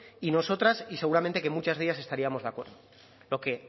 y nosotras y seguramente que en muchas de ellas estaríamos de acuerdo lo que